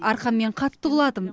арқаммен қатты құладым